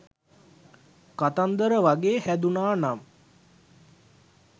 කතන්දර වගේ හැදුනා නම්